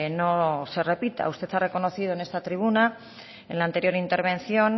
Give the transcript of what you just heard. no se repita usted ha reconocido en esta tribuna en la anterior intervención